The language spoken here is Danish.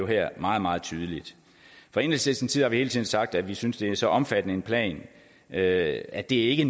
her meget meget tydelig fra enhedslistens side har vi hele tiden sagt at vi synes det er så omfattende en plan at at det ikke